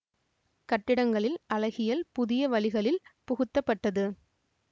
கட்டிடங்களில் அழகியல் புதிய வழிகளில் புகுத்தப்பட்டது